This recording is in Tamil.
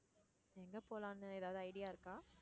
எங்க போகலாம்னு ஏதாவது idea இருக்கா?